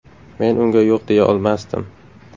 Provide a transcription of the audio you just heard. Men unga yo‘q deya olmasdim.